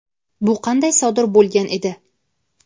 Bu qanday sodir bo‘lgan edi?.